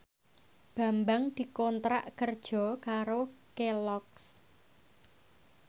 Bambang dikontrak kerja karo Kelloggs